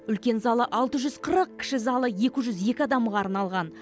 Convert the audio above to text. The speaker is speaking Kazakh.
үлкен залы алты жүз қырық кіші залы екі жүз екі адамға арналған